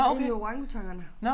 Inde ved orangutangerne